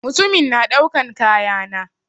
Mutumin na daukan kaya na.